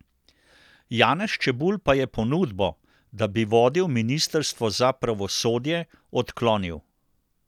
Janez Čebulj pa je ponudbo, da bi vodil ministrstvo za pravosodje, odklonil.